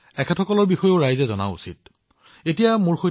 দেশবাসীয়ে এই সকলোবোৰৰ সেৱা তেওঁলোকৰ অভিজ্ঞতাৰ বিষয়ে জানিব লাগিব